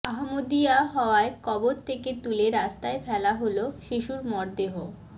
আহমদীয়া হওয়ায় কবর থেকে তুলে রাস্তায় ফেলা হলো শিশুর মরদেহ